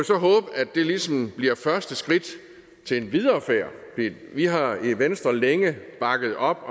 så håbe at det ligesom bliver første skridt til en videre færd vi har i venstre længe bakket op